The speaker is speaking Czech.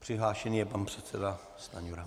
Přihlášený je pan předseda Stanjura.